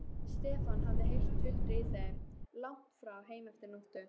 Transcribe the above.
Stefán hafði heyrt tuldrið í þeim langt fram eftir nóttu.